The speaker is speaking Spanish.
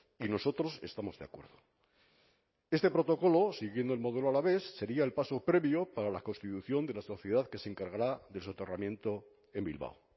y nosotros estamos de acuerdo este protocolo siguiendo el modelo alavés sería el paso previo para la constitución de la sociedad que se encargará del soterramiento en bilbao